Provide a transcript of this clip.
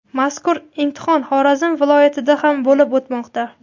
mazkur imtihon Xorazm viloyatida ham bo‘lib o‘tmoqda.